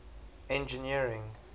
engineering